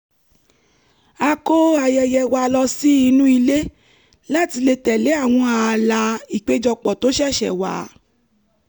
a kó ayẹyẹ wa lọ sí inú ilé láti lè tẹ̀lé àwọn ààlà ìpéjọpọ̀ tó ṣẹ̀ṣẹ̀ wà